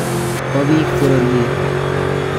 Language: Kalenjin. bo biik bororiet